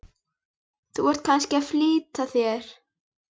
Þú ert kannski að flýta þér.